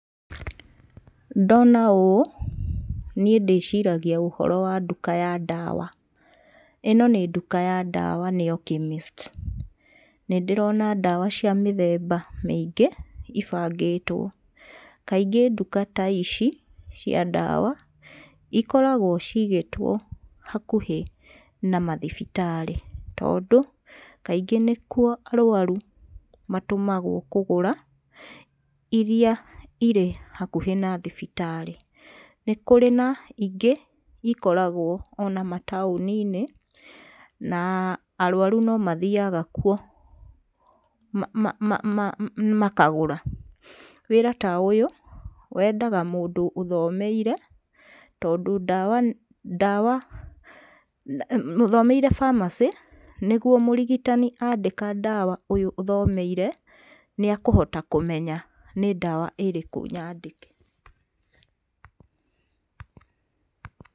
Ndona ũũ niĩ ndĩciragia ũhoro wa nduka ya ndawa. ĩno nĩ nduka ya ndawa nĩyo chemist. Nĩ ndĩrona ndawa cia mĩthemba mĩingĩ ĩbangĩtwo, kaingĩ nduka ta ici cia ndawa ikoragwo cigĩtwo hakuhĩ na mathibitarĩ tondũ kaingĩ nĩkuo arũaru matũmagwo kũu kũgũra irĩa irĩ hakuhĩ na thibitarĩ. Nĩ kũrĩ na ingĩ ikoragwo ona mataũni inĩ na arwaru nomathiaga kuo makagũra. Wĩra ta ũyũ wendaga mũndũ ũthomeire tondũ ndawa, ndawa ,ũthomeire pharmacy tondũ mũrigitani andĩka ndawa ũyũ thomeire nĩ akũhota kũmenya nĩ ndawa ĩrĩkũ nyandĩke.